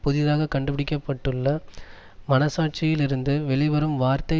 புதிதாக கண்டுபிடிக்கப்பட்டுள்ள மனச்சாட்சியில் இருந்து வெளிவரும் வார்த்தை